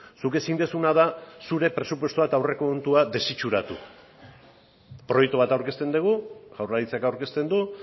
zuk ezin duzuna da zure presupuestoa eta aurrekontua desitxuratu proiektu bat aurkezten dugu jaurlaritzak aurkezten du